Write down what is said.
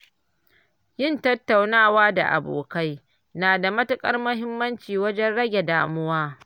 Yin tattaunawa da abokai na da matuƙar muhimmanci wajen rage damuwa.